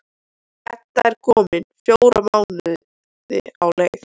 Edda er komin fjóra mánuði á leið.